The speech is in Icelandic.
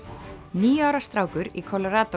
níu ára strákur í